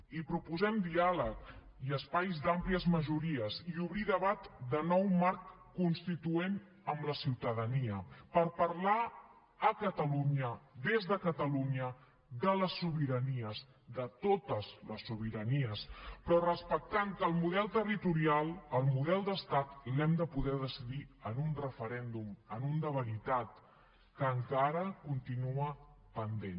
i proposem diàleg i espais d’àmplies majories i obrir debat de nou marc constituent amb la ciutadania per parlar a catalunya des de catalunya de les sobiranies de totes les sobiranies però respectant que el model territorial el model d’estat l’hem de poder decidir en un referèndum en un de veritat que encara continua pendent